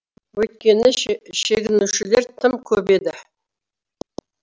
өйткені шегінушілер тым көп еді